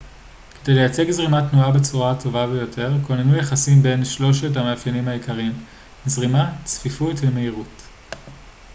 כדי לייצג זרימת תנועה בצורה טובה יותר כוננו יחסים בין שלושת המאפיינים העיקריים: 1 זרימה 2 צפיפות ו-3 מהירות